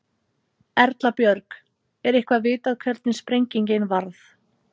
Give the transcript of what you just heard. Erla Björg: Er eitthvað vitað hvernig sprengingin varð?